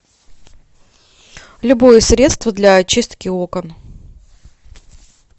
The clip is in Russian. любое средство для очистки окон